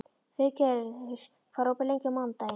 Friðgerður, hvað er opið lengi á mánudaginn?